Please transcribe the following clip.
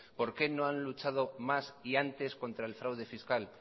por qué no han luchado más y antes contra el fraude fiscal